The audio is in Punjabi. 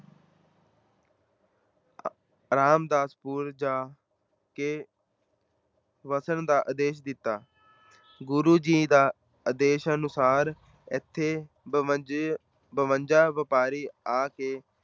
ਰਾਮਦਾਸਪੁਰ ਜਾ ਕੇ ਵਸਣ ਦਾ ਆਦੇਸ਼ ਦਿੱਤਾ। ਗੁਰੂ ਜੀ ਦੇ ਆਦੇਸ਼ ਅਨੁਸਾਰ ਇੱਥੇ ਬੰਵੰਜੇ, ਬਵੰਜਾ ਵਪਾਰੀ ਆ ਕੇ